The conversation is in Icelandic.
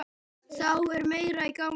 Þá er meira í gangi.